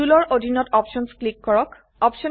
টুল ৰ অধীনত options click কৰক